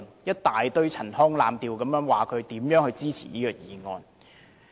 一大堆陳腔濫調說自己如何支持這項議案。